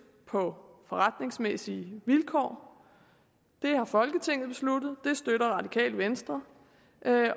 på forretningsmæssige vilkår det har folketinget besluttet det støtter radikale venstre